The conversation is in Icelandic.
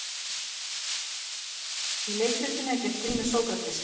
Í leikritinu er gert grín að Sókratesi.